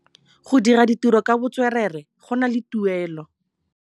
Go dira ditirô ka botswerere go na le tuelô.